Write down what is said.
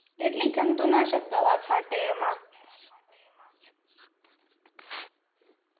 કેટલી જંતુનાશક દવા છાંટે એમાં